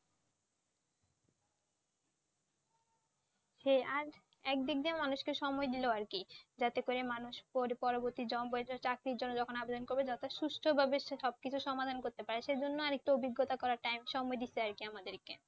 হে আর এক দিক দিয়ে মানুষকে সময় দিল আর কি যাতে করে মানুষ পড়ে পরবর্তী চাকরির জন্য যখন আবেদন করবে যত সুস্থ ভাবে সে সবকিছু সমাধান করতে পারবে সেই জন্য আরেকটু অভিজ্ঞতা করার Time সময় দিয়েছে। আর কি আমাদেরকে